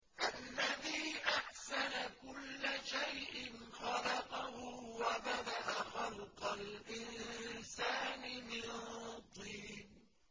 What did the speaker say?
الَّذِي أَحْسَنَ كُلَّ شَيْءٍ خَلَقَهُ ۖ وَبَدَأَ خَلْقَ الْإِنسَانِ مِن طِينٍ